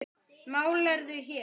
Málarðu hér?